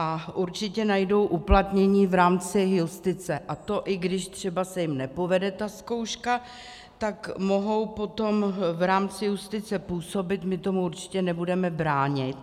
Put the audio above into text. A určitě najdou uplatnění v rámci justice, a to i když třeba se jim nepovede ta zkouška, tak mohou potom v rámci justice působit, my tomu určitě nebudeme bránit.